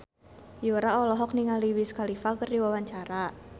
Yura olohok ningali Wiz Khalifa keur diwawancara